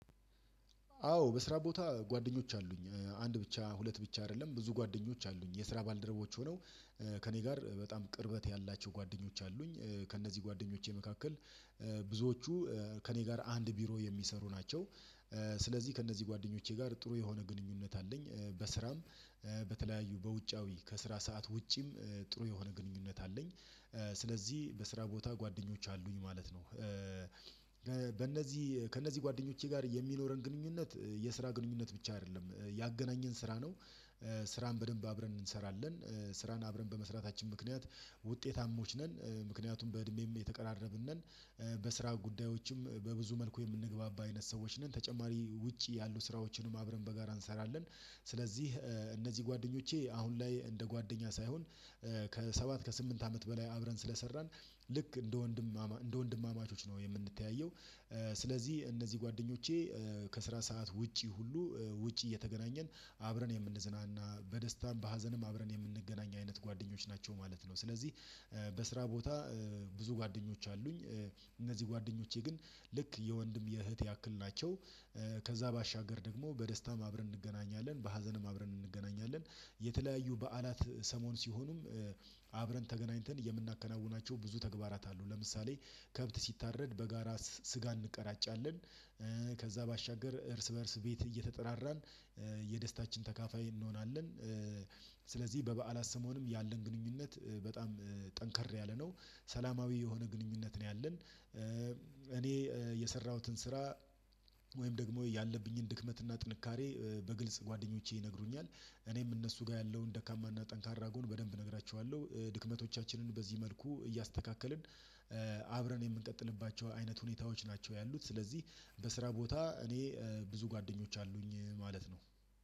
አዎ በስራ ቦታ ጓደኞች አሉኝ አንድ ብቻ ሁለት ብቻ አይደለም ብዙ ጓደኞች አሉኝ የስራ ባልደረቦች ሆነው ከእኔ ጋር በጣም ቅርበት ያላቸው ጓደኞች አሉኝ ከእነዚህ ጓደኞቼ መካከል ብዙዎቹ ከእኔ ጋር አንድ ቢሮ የሚሰሩ ናቸው ስለዚህ ከእነዚህ ጓደኞቼ ጋር ጥሩ የሆነ ግንኙነት አለኝ በስራም በተለያዩ በውጫዊ ከስራ ሰዓት ውጪም ጥሩ የሆነ ግንኙነት አለኝ ስለዚህ በስራ ቦታ ጓደኞች አሉኝ ማለት ነው። በእነዚህ ከእነዚህ ጓደኞቼ ጋር የሚኖረን ግንኙነት የስራ ግንኙነት ብቻ አይደለም ያገናኘን ስራ ነው። ስራን በደንብ አብረን እንሰራለን ስራን አብረን በመስራታችን ምክንያት ውጤታሞች ነን ምክንያቱም በእድሜም የተቀራረብን ነን። በስራ ጉዳዮችም በብዙ መልኩ የምንግባባ አይነት ሰዎች ነን ተጨማሪ ውጪ ያሉ ስራዎችንም አብረን በጋራ እንሰራለን። ስለዚህ እነዚህ ጓደኞቼ አሁን ላይ እንደ ጓደኛ ሳይሆን ከሰባት ከስምንት አመት በላይ አብረን ስለሰራን ልክ እንደ ወንድማማቾች ነው የምንተያየው። ስለዚህ እነዚህ ጓደኞቼ ከስራ ሰዓት ውጪ ሁሉ ውጪ እየተገናኘን አብረን የምንዝናና በደስታም በሀዘንም አብረን የምንገናኝ አይነት ጓደኞች ናቸው ማለት ነው። ስለዚህ በስራ ቦታ ብዙ ጓደኞች አሉኝ። እነዚህ ጓደኞቼ ግን ልክ የወንድም የእህት ያክል ናቸው። ከዛ ባሻገር ደግሞ በደስታም አብረን እንገናኛለን በሀዘንም አብረን እንገናኛለን። የተለያዩ በዓላት ሰሞን ሲሆኑም አብረን ተገናኝተን የምናከናውናቸው ብዙ ተግባራት አሉ ለምሳሌ ከብት ሲታረድ በጋራ ስጋ እንቀራጫለን። ከዛ ባሻገር እርስ በእርስ ቤት እየተጠራራን የደስታችን ተካፋይ እንሆናለን። ስለዚህ በበዓላት ስምዖንም ያለን ግንኙነት በጣም ጠንከር ያለ ነው ሰላማዊ የሆነ ግንኙነት ነው ያለን። እኔ የሰራሁትን ስራ ወይም ደግሞ ያለብኝን ድክመት እና ጥንካሬ በግልጽ ጓደኞቼ ይነግሩኛል። እኔም እነሱ ጋር ያለውን ደካማና ጠንካራ ጎን በደንብ እነግራችኋለሁ ድክመቶቻችንን በዚህ መልኩ እያስተካከልን አብረን የምንቀጥልባቸው አይነት ሁኔታዎች ናቸው ያሉት። ስለዚህ በስራ ቦታ እኔ ብዙ ጓደኞች አሉኝ ማለት ነው